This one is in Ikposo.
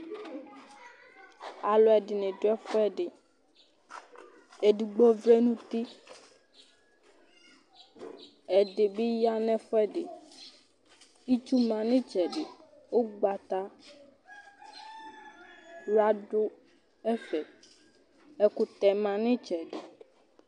Alʋɛdɩnɩ dʋ ɛfʋɛdɩ Edigbo vlɛ nʋ uti Ɛdɩbbɩ ya nʋ ɛdɩ bɩ ya nʋ ɛfʋɛdɩ Itsu ma nʋ ɩtsɛdɩ Ʋgbatawla dʋ ɛfɛ Ɛkʋtɛ ma nʋ ɩtsɛdɩ